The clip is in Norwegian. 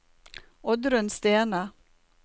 Oddrun Stene